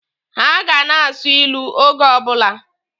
Ha ga na-asụ ilu oge ọbụla.